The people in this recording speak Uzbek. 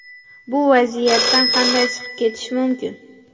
Bu vaziyatdan qanday chiqib ketish mumkin?